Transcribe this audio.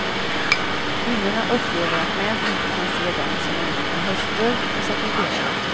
Kvinnorna upplever att män inte kan se dem som annat än hustrur och sekreterare.